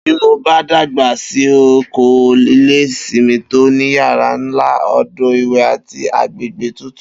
Bí mo dàgbà si, n óò kó ilé ìsimi tó ní yàrá nla, odò ìwè̩, àti agbègbè tutù